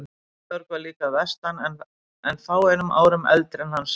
Georg var líka að vestan en fáeinum árum eldri en hann sjálfur.